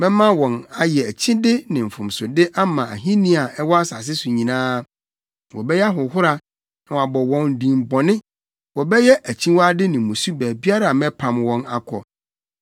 Mɛma wɔn ayɛ akyide ne mfomsode ama ahenni a ɛwɔ asase so nyinaa, wɔbɛyɛ ahohora na wɔabɔ wɔn din bɔne, wɔbɛyɛ akyiwade ne mmusu baabiara a mɛpam wɔn akɔ.